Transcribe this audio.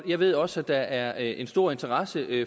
jeg ved også at der er en stor interesse